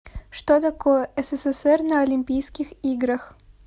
что такое ссср на олимпийских играх